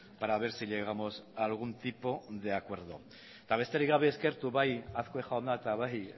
para ver si llegamos a algún tipo de acuerdo eta besterik gabe eskertu bai azkue jauna eta bai